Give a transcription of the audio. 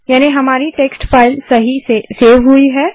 तो हमारी text file सफलतापूर्वक सेव हुई है